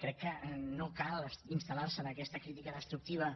crec que no cal instal·lar se en aquesta crítica destructiva